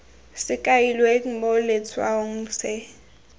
se kailweng mo letshwaong se